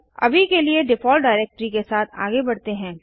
अभी के लिए डिफ़ॉल्ट डाइरेक्टरी के साथ आगे बढ़ते हैं